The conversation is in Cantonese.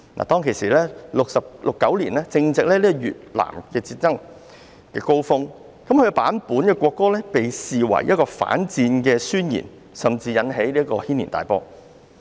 當時正值越南戰爭的高峰，這版本的國歌被視為反戰宣言，甚至引起軒然大波。